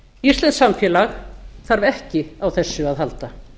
íslenskt samfélag þarf ekki á þessu að halda